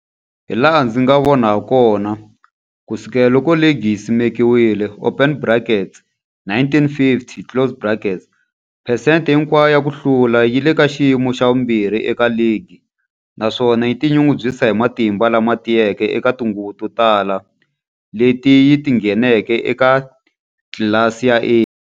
Hilaha ndzi nga vona hakona, ku sukela loko ligi yi simekiwile, open brackets 1950 closed brackets, phesente hinkwayo ya ku hlula yi le ka xiyimo xa vumbirhi eka ligi, naswona yi tinyungubyisa hi matimba lama tiyeke eka tinguva to tala leti yi ngheneke eka tlilasi ya A.